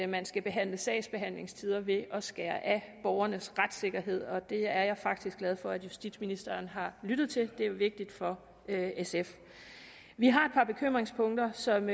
man skal behandle sagsbehandlingstider ved at skære af borgernes retssikkerhed og det er jeg faktisk glad for at justitsministeren har lyttet til det er vigtigt for sf vi har et par bekymringspunkter som